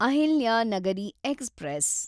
Ahilyanagari express